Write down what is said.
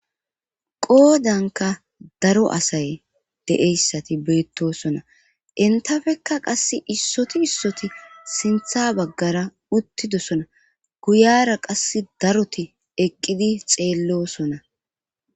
Qoodanka daro asay deeyssati beettosona intafeka qass issoti issoti sintha baggara uttidosona guyara qass daroti eqqidi xeellosona.